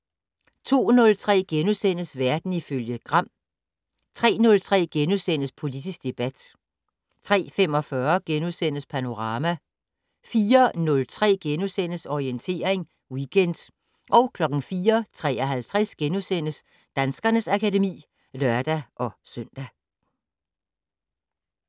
02:03: Verden ifølge Gram * 03:03: Politisk debat * 03:45: Panorama * 04:03: Orientering Weekend * 04:53: Danskernes akademi *(lør-søn)